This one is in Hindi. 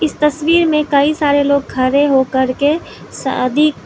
इस तस्वीर में कई सारे लोग खड़े होकर के शादी --